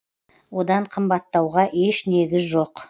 одан қымбаттауға еш негіз жоқ